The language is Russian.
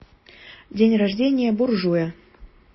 день рождения буржуя